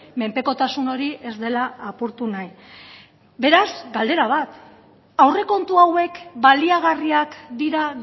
menpekotasun hori ez dela apurtu nahi beraz galdera bat aurrekontu hauek baliagarriak dira